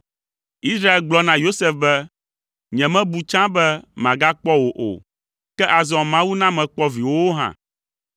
Israel gblɔ na Yosef be, “Nyemebu tsã be magakpɔ wò o, ke azɔ Mawu na mekpɔ viwòwo hã.”